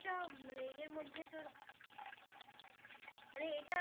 এটা মানে এর মধ্যে তোর মানে এটা